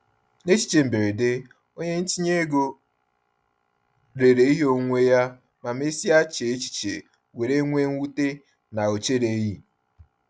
N’echiche mberede, onye ntinye ego rere ihe onwunwe ya ma mesịa chee echiche were nwee mwute na ọ chereghị.